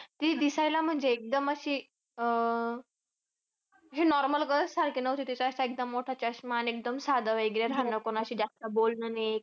ती दिसायला म्हणजे एकदम अशी अं अह हे normal girls सारखे नव्हते. तिचा असा एकदम मोठा चष्मा आणि एकदम साधं वगैरे राहणं. कोणाशी जास्त बोलणं नाही.